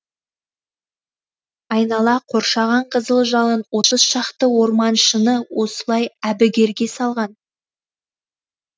айнала қоршаған қызыл жалын отыз шақты орманшыны осылай әбігерге салған